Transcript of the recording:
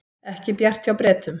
Ekki bjart hjá Bretum